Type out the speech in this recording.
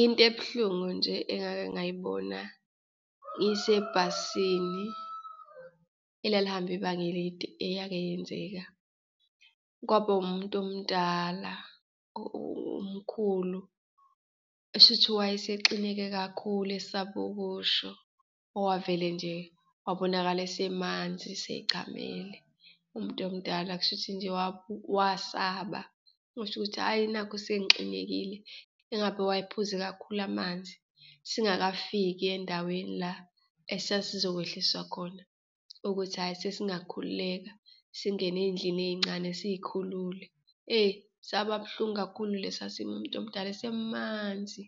Into ebuhlungu nje engake ngayibona isebhasini elalihamba ibanga elide eyake yenzeka, kwaba umuntu omdala, umkhulu, kushuthi wayesexineke kakhulu esaba ukusho, wavele nje wabonakala esemanzi, eseyi chamele umuntu omdala. Kushuthi nje wasaba ukusho ukuthi hhayi, nakhu sengixinekile, engabe wayephuze kakhulu amanzi, singakafiki endaweni la esasizokwehliswa khona ukuthi hhayi sesingakhululeka, singene eyindlini eyincane siyikhulule. Eyi, saba buhlungu kakhulu lesa simo, umntomdala esemanzi,